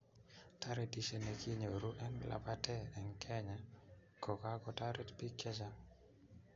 Toretishe ne kinyoruu eng labatee eng Kenya ko kakotoret biik che chang.